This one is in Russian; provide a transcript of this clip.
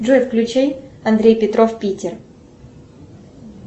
джой включи андрей петров питер